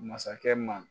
Masakɛ ma